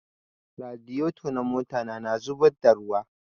Radiyeto na mota ta na zubadda ruwa